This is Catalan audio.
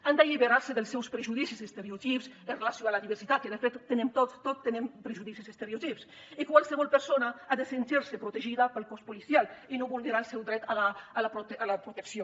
han d’alliberar se dels seus prejudicis i estereotips amb relació a la diversitat que de fet tenim tots tots tenim prejudicis i estereotips i qualsevol persona ha de sentir se protegida pel cos policial i no vulnerar el seu dret a la protecció